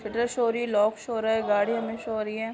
Show हो रही है। लॉक शो हो रहा है। गाडी हमे शो हो रही है।